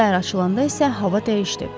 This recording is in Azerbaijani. Səhər açılanda isə hava dəyişdi.